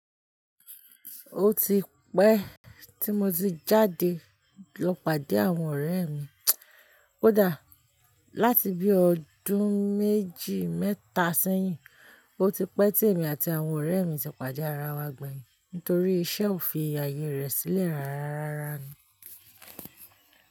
Ó ti pẹ́ tí mo ti jáde lọ pàdé àwọn ọ̀rẹ́ mi. Kódà láti bí ọdún méjì mẹ́ta sẹ́yìn, ó ti pẹ́ tí èmi àti àwọn ọ̀rẹ́ mi ti pàde ara wa gbẹ̀yìn nítorí iṣẹ́ ò fi àyè rẹ̀ sílẹ̀ rárá rárá ni.